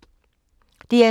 DR2